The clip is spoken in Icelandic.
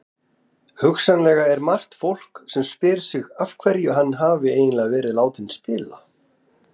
Hugsanlega er margt fólk sem spyr sig af hverju hann hafi eiginlega verið látinn spila?